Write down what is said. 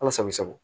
Ala sago i sago